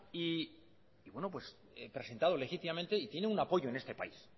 y presentado legítimamente y tiene un apoyo en este país